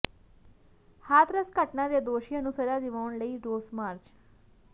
ਹਾਥਰਸ ਘਟਨਾ ਦੇ ਦੋਸ਼ੀਆਂ ਨੂੰ ਸਜ਼ਾ ਦਿਵਾਉਣ ਲਈ ਰੋਸ ਮਾਰਚ